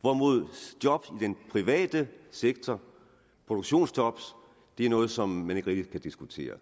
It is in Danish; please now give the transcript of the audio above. hvorimod job i den private sektor produktionsjob er noget som man ikke rigtig kan diskutere